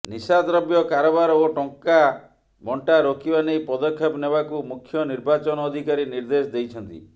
ନିଶାଦ୍ରବ୍ୟ କାରବାର ଓ ଟଙ୍କାବଣ୍ଟା ରୋକିବା ନେଇ ପଦକ୍ଷେପ ନେବାକୁ ମୁଖ୍ୟ ନିର୍ବାଚନ ଅଧିକାରୀ ନିର୍ଦେଶ ଦେଇଛନ୍ତି